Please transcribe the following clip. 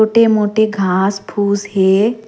छोटे-मोटे घाँस फूस हे।